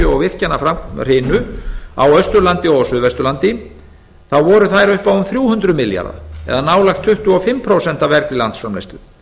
og virkjanahrinu á austurlandi og á suðvesturlandi þá voru þær upp á um þrjú hundruð milljarða króna og nálægt tuttugu og fimm prósent af vergri landsframleiðslu